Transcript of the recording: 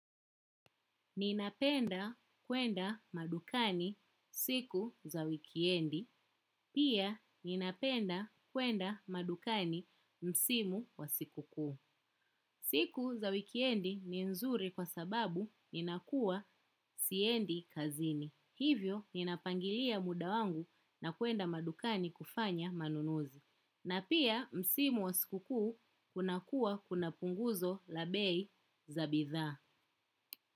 Ninapenda kuenda madukani siku za wikendi. Pia ninapenda kuenda madukani msimu wa siku kuu. Siku za wikendi ni nzuri kwa sababu ninakuwa siendi kazini. Hivyo ninapangilia muda wangu na kwenda madukani kufanya manunuzi. Na pia msimu wa siku kuu kunakuwa kuna punguzo la bei za bidhaa.